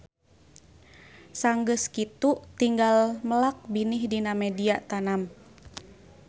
Sanggeus kitu tinggal melak binih dina media tanam